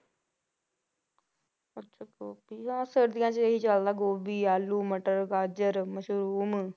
ਅੱਛਾ ਗੋਭੀ ਹਾਂ ਸਰਦੀਆਂ 'ਚ ਇਹੀ ਚੱਲਦਾ ਗੋਭੀ, ਆਲੂ, ਮਟਰ, ਗਾਜ਼ਰ, ਮਸ਼ਰੂਮ